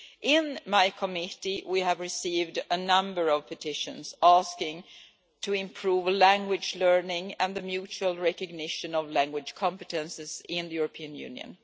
In my Committee, we have received a number of petitions asking to improve language learning and the mutual recognition of language competences in the European Union.